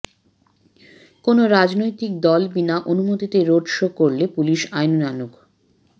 কোনও রাজনৈতিক দল বিনা অনুমতিতে রোড শো করলে পুলিশ আইনানুগ